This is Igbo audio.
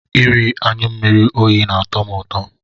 Iri anyụ mmiri oyi na-atọ m ụtọ.